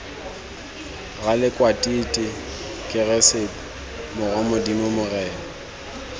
ralekwatiti keresete morwa modimo morena